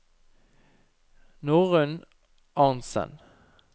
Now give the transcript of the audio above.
Norunn Arntzen